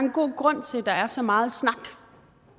en god grund til at der er så meget snak